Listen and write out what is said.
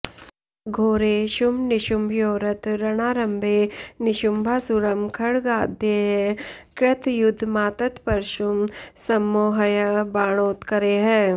घोरे शुम्भनिशुम्भयोरथ रणारम्भे निशुम्भासुरं खड्गाद्यैः कृतयुद्धमात्तपरशुं सम्मोह्य बाणोत्करैः